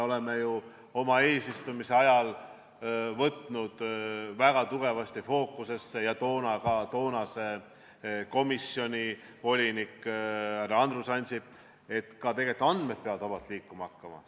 Me ju oma eesistumise ajal võtsime selle väga tugevasti fookusesse ja ka toonane komisjoni volinik härra Andrus Ansip rõhutas, et andmed peavad vabalt liikuma hakkama.